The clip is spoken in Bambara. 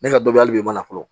Ne ka dɔ hali bi e ma fɔlɔ